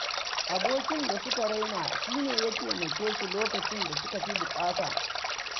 Abokin da suka raina shi ne ya taimake su lokacin da suka fi buƙata.